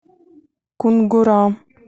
кунгура